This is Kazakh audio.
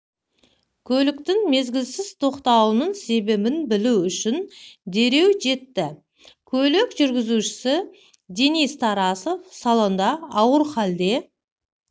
көліктің мезгілсіз тоқтауының себебін білу үшін дереу жетті көлік жүргізушісі денис тарасов салонда ауыр халде